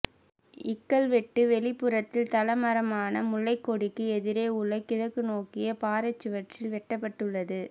இக்கல்வெட்டு வெளிப்புறத்தில் தலமரமான முல்லைக்கொடிக்கு எதிரே உள்ள கிழக்கு நோக்கிய பாறைச் சுவரில் வெட்டப்பட்டுள்ளது